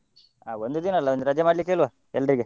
ಹಾ ಒಂದು ದಿನ ಅಲ್ಲ, ಒಂದ್ ರಜೆ ಮಾಡ್ಲಿಕ್ಕೆ ಹೇಳ್ವ, ಎಲ್ರಿಗೆ.